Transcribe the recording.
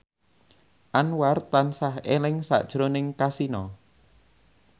Anwar tansah eling sakjroning Kasino